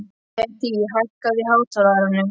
Hedí, hækkaðu í hátalaranum.